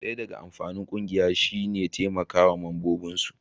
daya daga amfanin kungiya shi ne taimakawa ma mambobin su